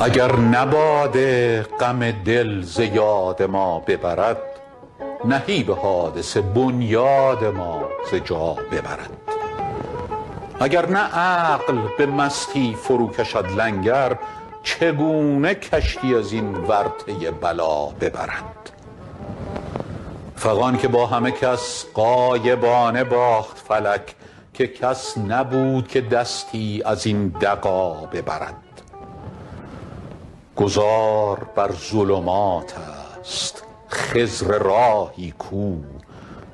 اگر نه باده غم دل ز یاد ما ببرد نهیب حادثه بنیاد ما ز جا ببرد اگر نه عقل به مستی فروکشد لنگر چگونه کشتی از این ورطه بلا ببرد فغان که با همه کس غایبانه باخت فلک که کس نبود که دستی از این دغا ببرد گذار بر ظلمات است خضر راهی کو